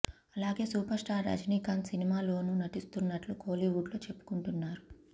అలాగే super star Rajinikanth సినిమాలోను నటిస్తున్నట్లు కోలీవుడ్ లో చెప్పుకుంటున్నారు